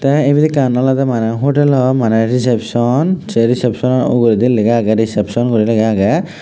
te ibet ekkan olode mane hotel o mane reception se reception sano uguredi lega aage reception guri lega aage.